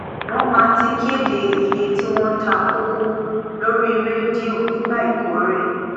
wón má ti kéde iyé tí wón ta koko lórí rédíò nígbà ìkórè